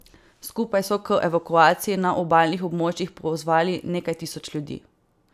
Skupaj so k evakuaciji na obalnih območjih pozvali nekaj tisoč ljudi.